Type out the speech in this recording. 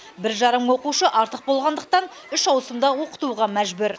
бір жарым мың оқушы артық болғандықтан үш ауысымда оқытуға мәжбүр